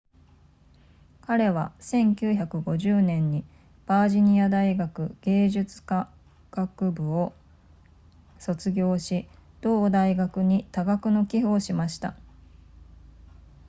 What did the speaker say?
彼は1950年にバージニア大学芸術科学部を卒業し同大学に多額の寄付をしました